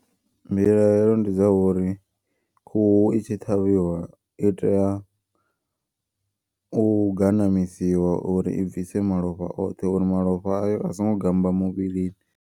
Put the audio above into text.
Mbilahelo ndi dza uri khuhu i tshi ṱhavhiwa i tea u ganamisiwa uri i bvise malofha oṱhe. Uri malofha ayo asingo gammba muvhilini.